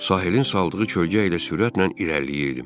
Sahilin saldığı kölgə ilə sürətlə irəliləyirdim.